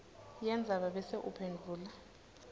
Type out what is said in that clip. yendzaba bese uphendvula